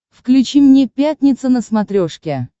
включи мне пятница на смотрешке